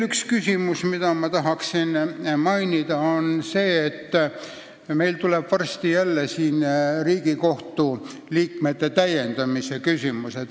Üks küsimus, mida ma veel tahan mainida, on see, et meil tuleb varsti jälle päevakorrale Riigikohtu täiendamine uute liikmetega.